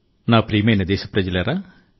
నా ప్రియమైన దేశ ప్రజలారా